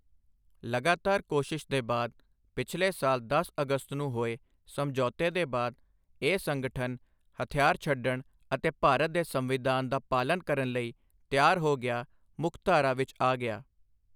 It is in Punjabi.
ਲਗਾਤਾਰ ਕੋਸ਼ਿਸ਼ ਦੇ ਬਾਅਦ ਪਿਛਲੇ ਸਾਲ ਦਸ ਅਗਸਤ ਨੂੰ ਹੋਏ ਸਮਝੌਤੇ ਦੇ ਬਾਅਦ ਇਹ ਸੰਗਠਨ ਹਥਿਆਰ ਛੱਡਣ ਅਤੇ ਭਾਰਤ ਦੇ ਸੰਵਿਧਾਨ ਦਾ ਪਾਲਣ ਕਰਨ ਲਈ ਤਿਆਰ ਹੋ ਗਿਆ, ਮੁੱਖਧਾਰਾ ਵਿੱਚ ਆ ਗਿਆ।